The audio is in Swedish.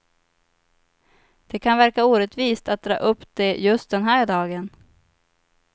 Det kan verka orättvist att dra upp det just den här dagen.